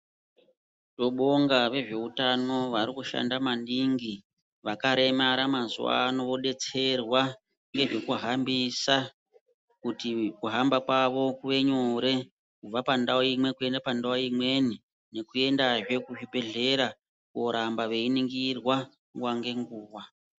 Tinobonga vezveutano varikushanda maningi. Vakaremara mazuvano vodetserwa nezvekuhambisa kuti kuhamba kwavo kuve nyore, kubva pandau imwe kuende panadau imweni, nekuendazve kuzvibhehlera kuoramba veiningirwa nguva ngenguva.